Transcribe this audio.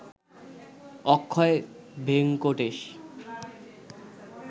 Akshay Venkatesh